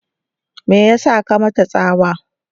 me yasa ka mata tsawa?